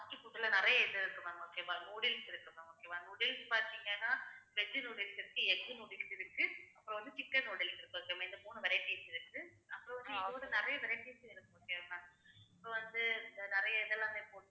fast food ல நிறைய இது இருக்கு ma'am okay வா noodles இருக்கு ma'am okay வா noodles பாத்தீங்கன்னா veg noodles இருக்கு egg noodles இருக்கு அப்புறம் வந்து chicken noodles இருக்கு மூணு varieties இருக்கு அப்புறம் வந்து இன்னுனு நிறைய varieties இருக்கு okay வா ma'am so வந்து நிறைய இதெல்லாமே போட்டு